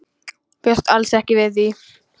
Bjóst alls ekki við því.